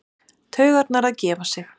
Taugarnar að gefa sig.